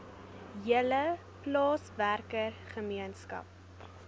hele plaaswerker gemeenskap